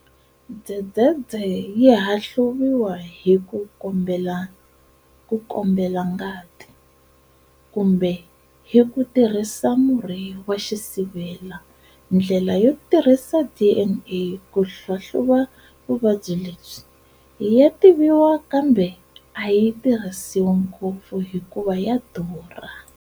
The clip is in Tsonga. Dzedzedze yihahluviwa hi ku kambela ngati, kumbe hi ku tirhisa murhi wa xisivela. Ndlela yo tirhisa DNA ku hlahluva vuvabyi lebyi, ya tiviwa kambe ayi tirhisiwi ngopfu hikuva ya durha.